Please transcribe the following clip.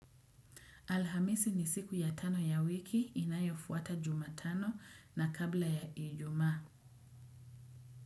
Alhamisi ni siku ya tano ya wiki inayofuata jumatano na kabla ya ijumaa.